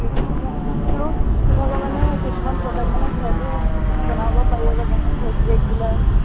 এতিয়া মোক আহ তোৰ তোৰ ভাগৰ মানে সেই কিছুমান product মানে ঘৰতো বনাব পাৰি আক, যেনে face pack বিলাক